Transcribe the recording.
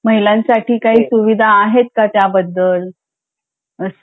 महिलांसाठी काही सुविधा आहेत का त्याबद्दल असं